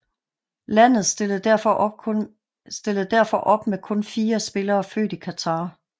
Landet stillede derfor op med kun fire spillere født i Qatar